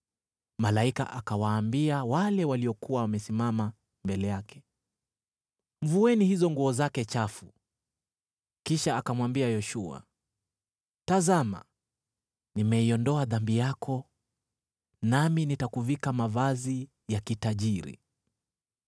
Malaika akawaambia wale waliokuwa wamesimama mbele yake, “Mvueni hizo nguo zake chafu.” Kisha akamwambia Yoshua, “Tazama, nimeiondoa dhambi yako, nami nitakuvika mavazi ya kitajiri.”